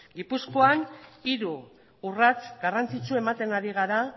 gipuzkoan hiru urrats garrantzitsu ematen ari gara